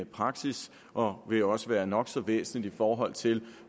praksis og vil også være nok så væsentligt i forhold til